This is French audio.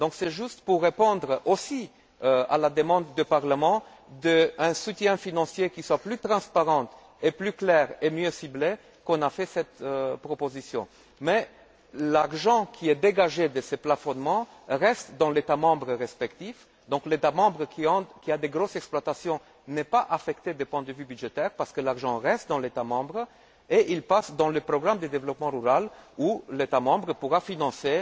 Donc c'est juste pour répondre aussi à la demande du Parlement d'un soutien financier qui soit plus transparent, plus clair et mieux ciblé qu'on a fait cette proposition. Mais l'argent qui est dégagé de ce plafonnement reste dans l'État membre respectif, donc l'État membre qui a de grandes exploitations n'est pas affecté du point de vue budgétaire parce que l'argent reste dans l'État membre et passe dans le programme de développement rural dans le cadre duquel l'État membre pourra financer